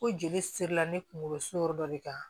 Ko jeli sirila ne kunkolo siyɔrɔ dɔ de kan